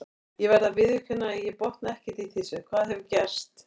Ég verð að viðurkenna að ég botna ekkert í þessu, hvað hefur gerst?